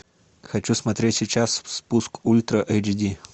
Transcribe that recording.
хочу смотреть сейчас спуск ультра эйч ди